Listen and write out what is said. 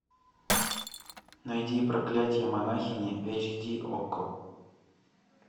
найди проклятие монахини эйч ди окко